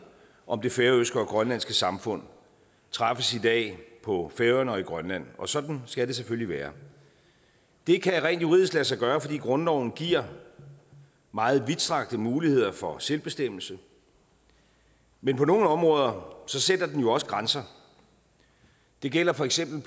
om det færøske og grønlandske samfund træffes i dag på færøerne og i grønland og sådan skal det selvfølgelig være det kan rent juridisk lade sig gøre fordi grundloven giver meget vidtstrakte muligheder for selvbestemmelse men på nogle områder sætter den jo også grænser det gælder for eksempel